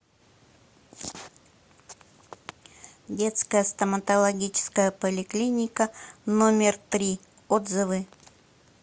детская стоматологическая поликлиника номер три отзывы